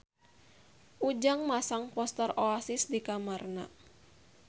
Ujang masang poster Oasis di kamarna